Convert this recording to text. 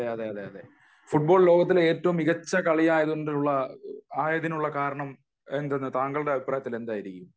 അതെയതെ ഫുട്ബോൾ ലോകത്തിലെ ഏറ്റവും മികച്ച കളി ആയതിനുള്ള കാരണം താങ്കളുടെ അഭിപ്രായത്തിൽ എന്തായിരിക്കും